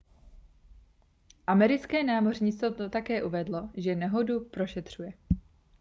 americké námořnictvo také uvedlo že nehodu prošetřuje